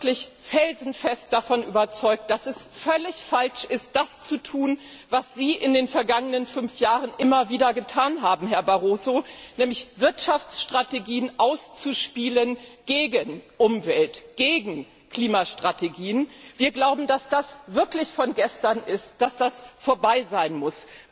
Wir sind wirklich felsenfest davon überzeugt, dass es völlig falsch ist, das zu tun, was Sie in den vergangenen fünf Jahren immer wieder getan haben, Herr Barroso, nämlich Wirtschaftsstrategien gegen Umwelt und Klimastrategien auszuspielen. Wir glauben, dass das wirklich von gestern ist, dass es damit vorbei sein muss.